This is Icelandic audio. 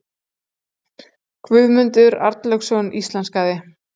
Guðmundur Arnlaugsson íslenskaði.